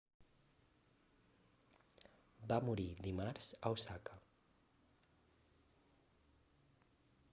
va morir dimarts a osaka